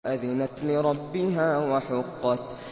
وَأَذِنَتْ لِرَبِّهَا وَحُقَّتْ